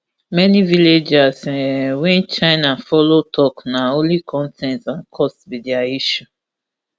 many villagers um wey china follow tok na only con ten t and cost be dia issue